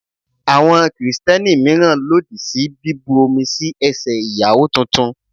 Àwọn Kristẹni míràn lòdì sí bí bu omi sí ẹsẹ̀ Ìyàwó tuntun.